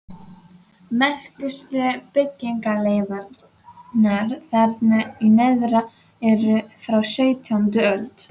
Merkustu byggingarleifarnar þarna í neðra eru frá sautjándu öld.